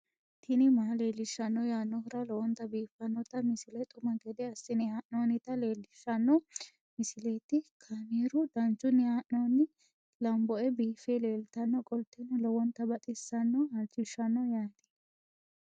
tini maa leelishshanno yaannohura lowonta biiffanota misile xuma gede assine haa'noonnita leellishshanno misileeti kaameru danchunni haa'noonni lamboe biiffe leeeltannoqolten lowonta baxissannoe halchishshanno yaate